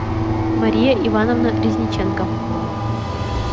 мария ивановна резниченко